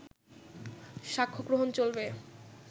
সাক্ষ্যগ্রহণ চলবে